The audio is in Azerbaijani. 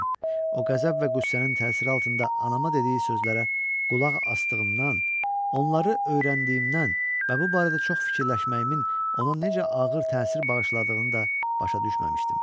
O qəzəb və qüssənin təsiri altında anama dediyi sözlərə qulaq asdığımdan, onları öyrəndiyimdən və bu barədə çox fikirləşməyimin ona necə ağır təsir bağışladığını da başa düşməmişdim.